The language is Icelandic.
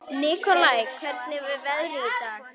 Nikolai, hvernig er veðrið í dag?